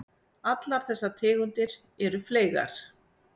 Allar þessar tegundir eru fleygar.